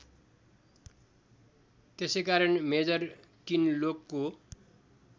त्यसैकारण मेजर किनलोकको